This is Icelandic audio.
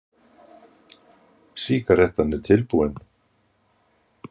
Sígarettan er búin.